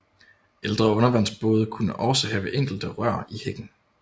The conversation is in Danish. Ældre undervandsbåde kunne også have enkelte rør i hækken